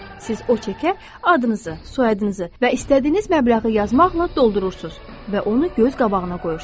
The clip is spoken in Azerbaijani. Siz o çekə adınızı, soyadınızı və istədiyiniz məbləği yazmaqla doldurursunuz və onu göz qabağına qoyursunuz.